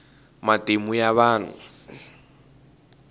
matimu ya vahnu